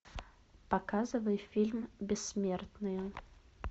показывай фильм бессмертные